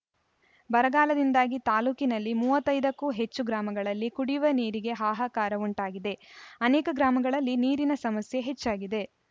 ಬರಗಾಲದಿಂದಾಗಿ ತಾಲೂಕಿನಲ್ಲಿ ಮೂವತ್ತ್ ಐದಕ್ಕೂ ಹೆಚ್ಚು ಗ್ರಾಮಗಳಲ್ಲಿ ಕುಡಿವ ನೀರಿಗೆ ಹಾಹಾಕಾರ ಉಂಟಾಗಿದೆ ಅನೇಕ ಗ್ರಾಮಗಳಲ್ಲಿ ನೀರಿನ ಸಮಸ್ಯೆ ಹೆಚ್ಚಾಗಿದೆ